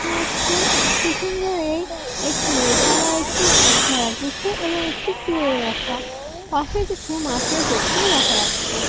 থাকছে । পিছন দিকেই একটি লোহা বার হচ্ছে। একধারে জুতো এবং একটি । পাশে একটি মাছের পেটি ও দেখা যাচ্ছে।